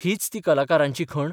हीच ती कलाकारांची खण?